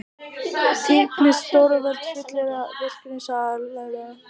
Tyrknesk stjórnvöld fullyrða að vinstriöfgamenn hafi staðið á bak við tilræðið.